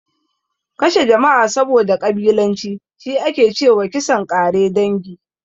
Kashe jama'a saboda ƙabilanci, shi ake ce wa kisan ƙare dangi.